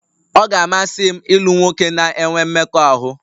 Ọ ga-amasị m ịlụ nwoke na-enwe mmekọahụ